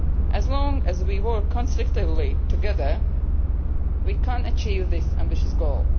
As long as we work constructively together, we can achieve this ambitious